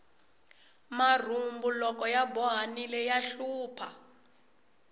marhumbu loko ya bohanile ya hlupha